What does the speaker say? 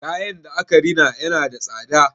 Kayan da aka rina yana da tsada.